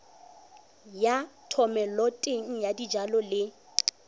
ya thomeloteng ya dijalo le